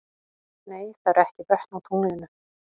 Nei, það eru ekki vötn á tunglinu.